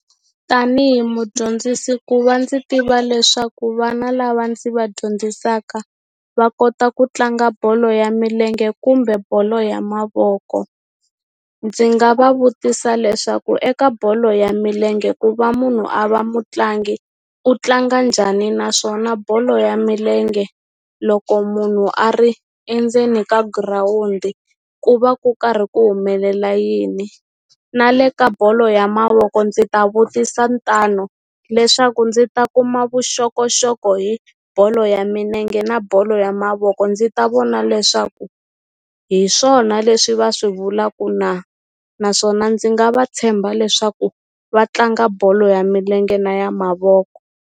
Tanihi mudyondzisi ku va ndzi tiva leswaku vana lava ndzi va dyondzisaka va kota ku tlanga bolo ya milenge kumbe bolo ya mavoko ndzi nga va vutisa leswaku eka bolo ya milenge ku va munhu a va mutlangi u tlanga njhani naswona bolo ya milenge loko munhu a ri endzeni ka girawundi ku va ku karhi ku humelela yini na le ka bolo ya mavoko ndzi ta vutisa ntano leswaku ndzi ta kuma vuxokoxoko hi bolo ya minenge na bolo ya mavoko ndzi ta vona leswaku hi swona leswi va swi vulaku na naswona ndzi nga va tshemba leswaku va tlanga bolo ya milenge na ya mavoko.